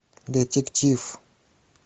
детектив